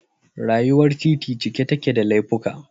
Rayuwar titi cike take da laifuka